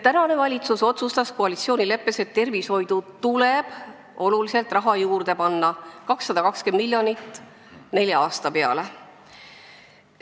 Tänane valitsus on koalitsioonileppes otsustanud, et tervishoidu tuleb oluliselt raha juurde panna, 220 miljonit nelja aasta peale.